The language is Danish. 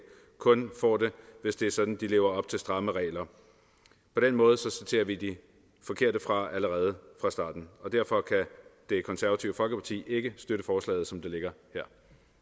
kun får det hvis det er sådan at de lever op til stramme regler på den måde sorterer vi de forkerte fra allerede fra starten og derfor kan det konservative folkeparti ikke støtte forslaget som det ligger her